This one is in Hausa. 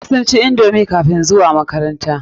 Duka sun ci indomi kafin zuwa makaranta.